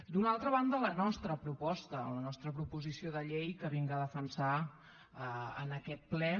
d’una altra banda la nostra proposta la nostra proposició de llei que vinc a defensar en aquest ple